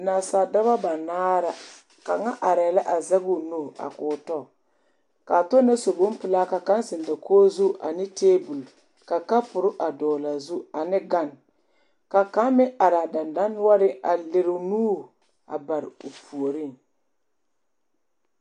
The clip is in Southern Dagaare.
Nasaaldɔba banaare la kaŋa arɛɛ la a zɛge o nu a k,o tɔ k,a tɔ na su bompelaa ka kaŋ zeŋ dakogi zu a ne tabol ka kapuri a dɔgle a zu ane gane ka kaŋ meŋ are a dendɔnoɔreŋ a lere o nuuri a bare o puoriŋ.